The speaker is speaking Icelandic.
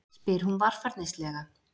spyr hún varfærnislega.